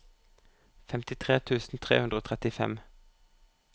femtitre tusen tre hundre og trettifem